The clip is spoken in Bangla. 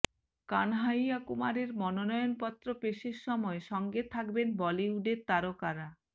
কানহাইয়া কুমারের মনোনয়ন পত্র পেশের সময় সঙ্গে থাকবেন বলিউডের তারকারা